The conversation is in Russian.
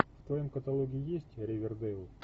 в твоем каталоге есть ривердейл